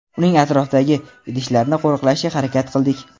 uning atrofidagi idishlarni qo‘riqlashga harakat qildik.